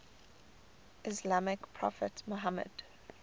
islamic prophet muhammad